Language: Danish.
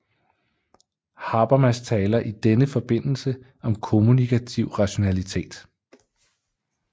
Habermas taler i denne forbindelse om kommunikativ rationalitet